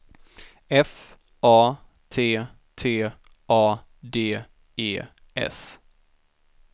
F A T T A D E S